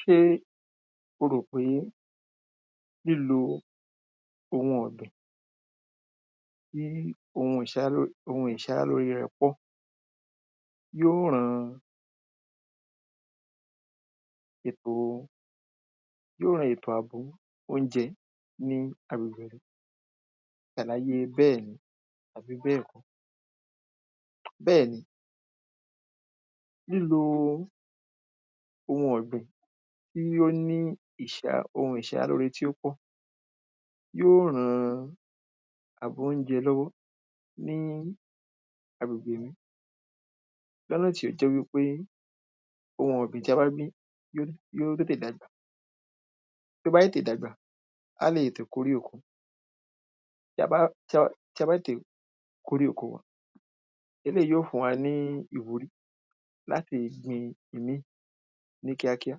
ṣé oròpé lílo ohun ọ̀gbìn tí ohun ìṣaralóre rẹ̀ pọ̀ yóó ran ètò yóó ran ètò àbò oúnjẹ ní agbègbè àlàyé bẹ́ẹ̀ni àbí bẹ́ẹ̀kọ́, bẹ́ẹ̀ni lílo ohun ọ̀gbìn tí ó ní ohun ìṣaralóre tó pọ̀ yóó rán àbò oúnjẹ lọ́wọ́ fún agbègbè mi lọ́nà tí ó jẹ́ wípé ohun ọ̀gbìn tí a bá gbìn yó tètè dàgbà tó bá tètè dàgbà á lè tètè kórè oko tí a bá tètè kórè oko, eléyìí yó fún wa ní ìwúrí láti gbin ìmí ì ní kíákíá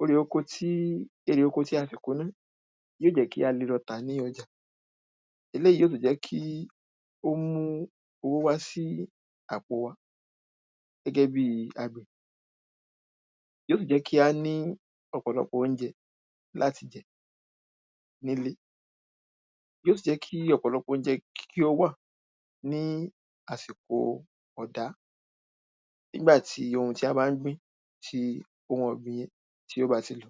orè oko tí erè oko tí a ṣẹ̀ kó ná ni yóò jẹ́ kí a lè lọ tà ní ọjà eléyìí yóò tún jẹ́ kí ó mú owó wá sí àpò wa gẹ́gẹ́ bíí àgbẹ̀ yóò sì jẹ́ kí á ní ọ̀pọ̀lọpọ̀ oúnjẹ láti jẹ nílé yóò sì jẹ́ kí ọ̀pọ̀lọpọ̀ oúnjẹ kí ó wà ní ásìkò ọ̀dá nígbà tí ohun tí a bá ń gbìn, ohun ọ̀gbìn yẹn tí ó bá ti lọ